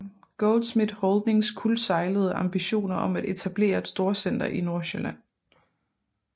Goldschmidt Holdings kuldsejlede ambitioner om at etablere et storcenter i Nordsjælland